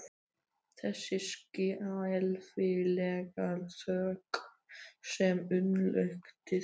Þessi skelfilega þögn sem umlukti þau.